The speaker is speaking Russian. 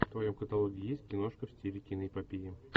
в твоем каталоге есть киношка в стиле киноэпопеи